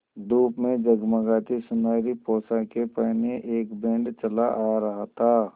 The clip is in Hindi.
धूप में जगमगाती सुनहरी पोशाकें पहने एक बैंड चला आ रहा था